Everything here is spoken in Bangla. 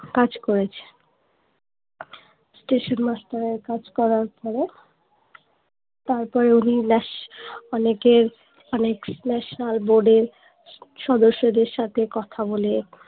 কাজ করেছে স্টেশন master এর কাজ করার পরে তারপরে উনি ন্যাশ অনেকের অনেক fitness সাল বোর্ডের সদস্যদের সাথে কথা বলে